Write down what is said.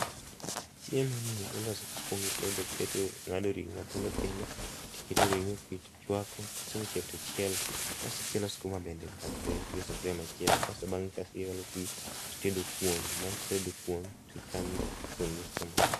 Chiemo ni iloso ka ikuong itedo, ing'ado ring'o matindo indo, tiketo ring'o tichwako, kosechiek tichielo, kasto ichielo skuma bende bathe gi e sufria machielo .Kasto bang'e tiolo pii titedo kuon. Bang' tedo kuon tichamo kuon kod skuma